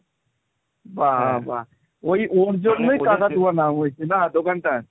বাবা, ওই ওর জন্যই কাকাতুয়া নাম হয়েছে না দোকানটার?